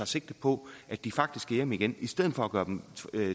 sigte på at de faktisk skal hjem igen i stedet for at gøre dem